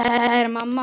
Kæra mamma.